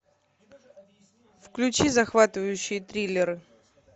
включи захватывающие триллеры